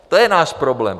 To je náš problém.